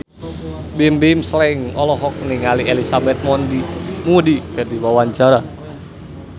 Bimbim Slank olohok ningali Elizabeth Moody keur diwawancara